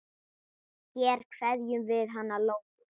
Hér kveðjum við hana Lóu.